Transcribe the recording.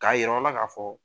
K'a yir'aw la k'a fɔ